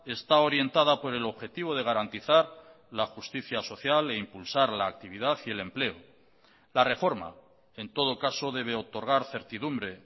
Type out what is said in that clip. está orientada por el objetivo de garantizar la justicia social e impulsar la actividad y el empleo la reforma en todo caso debe otorgar certidumbre